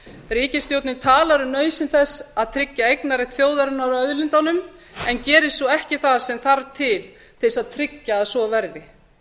ríkisstjórnin talar um nauðsyn þess að tryggja eignarrétt þjóðarinnar á auðlindunum en gerir svo ekki það sem til þarf til þess að tryggja að svo verði